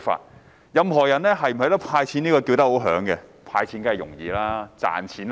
所有人均大聲要求"派錢"，但"派錢"容易、賺錢難。